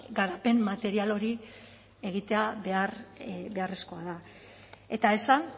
garapen material hori egitea behar beharrezkoa da eta esan